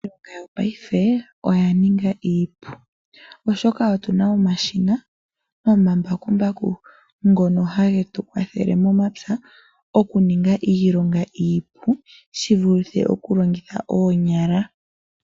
Iilonga yongashingeyi oya ninga iipu. Oshoka otuna omashina nomambakumbaku ngono hage tu kwathele momapya okuninga iilonga iipu shivulithe okulongitha oonyala.